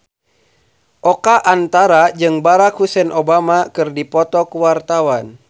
Oka Antara jeung Barack Hussein Obama keur dipoto ku wartawan